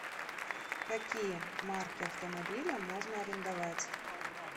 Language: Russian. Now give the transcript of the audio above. какие марки автомобиля можно арендовать